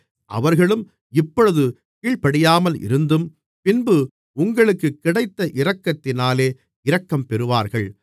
அவர்களும் இப்பொழுது கீழ்ப்படியாமல் இருந்தும் பின்பு உங்களுக்குக் கிடைத்த இரக்கத்தினாலே இரக்கம்பெறுவார்கள்